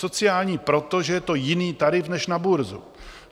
Sociální proto, že je to jiný tarif než na burzu.